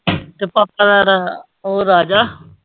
ਤੇ ਪਾਪਾ ਤਾਂ ਇਹਦਾ ਉਹ ਰਾਜਾ।